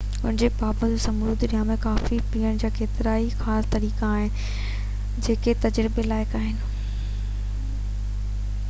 ان جي باوجود سموري دنيا ۾ ڪافي پيئڻ جا ڪيترائي خاص طريقا آهن جيڪي تجربي لائق آهن